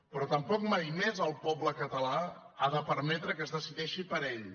però tampoc mai més el poble català ha de permetre que es decideixi per ell